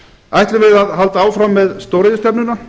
ætlum við að halda áfram með stóriðjustefnuna